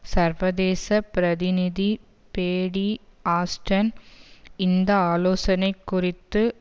சர்வதேச பிரதிநிதி Paddy Ashdown இந்த ஆலோசனை குறித்து